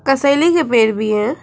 कसैली के पेड़ भी हैं।